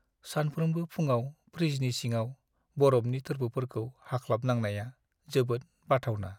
सानफ्रोमबो फुंआव फ्रिजनि सिङाव बरफनि थोरफोफोरखौ हाख्लाबनांनाया जोबोद बाथावना।